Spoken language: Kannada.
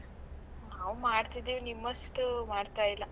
ನಾವೂ ಮಾಡ್ತಿದೀವಿ, ನಿಮ್ಮಷ್ಟು ಮಾಡ್ತಾಯಿಲ್ಲ.